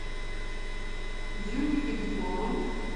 дрюней кобяковым